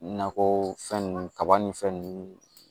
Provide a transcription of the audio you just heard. Nakɔ fɛn ninnu kaba ni fɛn nunnu